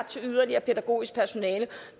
til yderligere pædagogisk personale